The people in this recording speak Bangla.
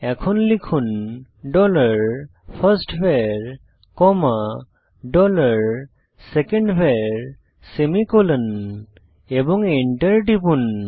এখন লিখুন dollar first var comma dollar second var semicolon এবং এন্টার টিপুন